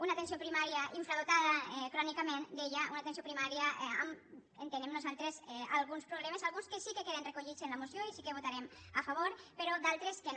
una atenció primària infradotada crònicament deia una atenció primària entenem nosaltres alguns problemes alguns que sí que queden recollits en la moció i sí que votarem a favor però d’altres que no